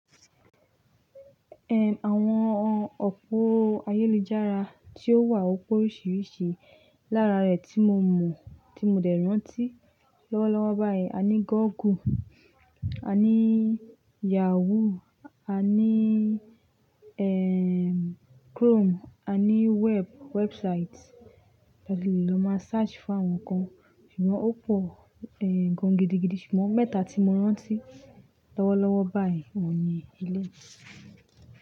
Ehn, àwọn òpó ayélujára tí ó wà, ó pọ̀ oríṣiríṣi. Lára rẹ̀ tí mo mọ̀, tí mo dẹ̀ rántí lọ́wọ́lọ́wọ́ báyìí, a ní Google, a ní Yahoo, a ní, ehn, Chrome, a ní web-- website tí a lè lọ máa search fún àwọn nǹkan. Ṣùgbọ́n ó pọ̀, ehn, gan gidigidi ṣùgbọ́n mẹ́ta tí mo rántí lọ́wọ́lọ́wọ́ báyìí ọ̀un ní eléyi.